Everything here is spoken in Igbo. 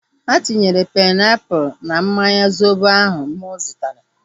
Ha tinyere painiapulu na mmanya zobo ahu mụ zụtara